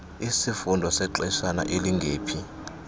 isifundo sexeshana elingephi